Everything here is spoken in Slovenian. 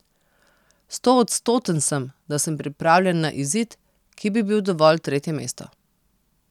Stoodstoten sem, da sem pripravljen za izid, ki bi bil dovolj tretje mesto.